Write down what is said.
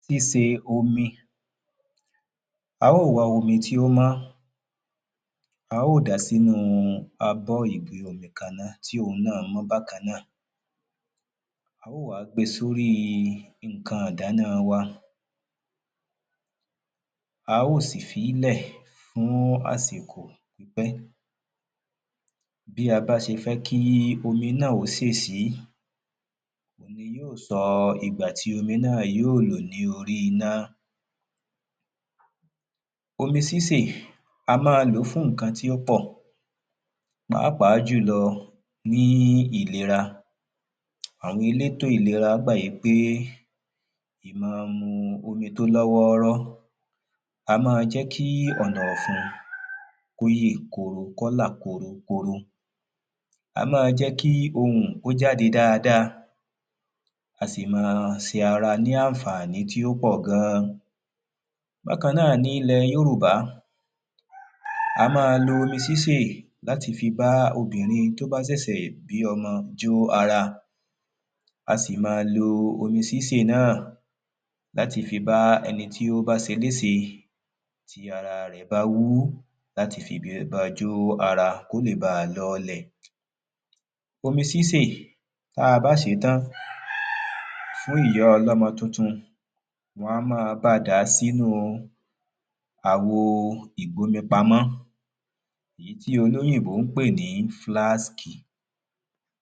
síse omi A óò wá omi tí ó mọ́ A óò dàá sínú abọ́ ìgbu omi kan náà tí òun náà mọ́ bákan náà A óò wá gbe sórí nǹkan ìdáná wa A óò sì fílẹ̀ fún àsìkò pípẹ́ Bí a bá ṣe fẹ́ kí omi náà ó sè sí òun ni yóò sọ ìgbà tí omi náà yóò lò ní orí iná Omi sísè á máa lòó fún nǹkan tí ó pọ̀ Pàápàá jùlọ ní ìlera Àwọn elétò ìlera gbà wípé máa mu omi tí ó lọ́ wọ́ọ́rọ́ A máa jẹ́ kí ọ̀nà ọ̀fun kí ó yè koro kí ó là korokoro Á máa jẹ́ kí ohùn kí ó jáde dáadáa A sì máa ṣe ara ní àǹfàní tí ó pọ̀ gan Bákàn náà ní ilẹ̀ Yorùbá A máa lo omi sísè láti fi bá obìnrin tí ó bá ṣẹ̀ṣẹ̀ bí ọmọ jó ara A si máa lo omi sísè náà láti bá ẹni tí ó bá ṣeléṣe tí ara rẹ̀ bá wú láti fi lè ba jó ara kí ó lè báa lọọlẹ̀ Omi sísè tí a bá sè é tán fún ìyá ọlọ́mọ tuntun wọ́n á máa bá a dà sínú àwo ìgbómipamọ́ ìyí tí olóyìnbó ń pè ní flask